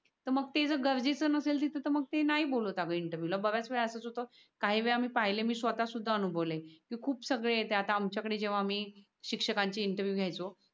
ते जर गरजेच नसेल तिथ तर मग ते नाय बोलत आग इंटरव्हिएव ला तर काही वेळा मी पाहिल ये मी स्वतः सुध अनुभव लय कि खूप सगळे आमच्या कडे आम्ही शिक्षकान चे इंटरव्हिएव घ्यायचो.